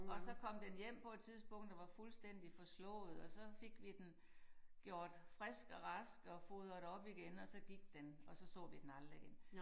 Og så kom den hjem på et tidspunkt og var fuldstændig forslået og så fik vi den gjort frisk og rask og fodret op igen og så gik den og så så vi den aldrig igen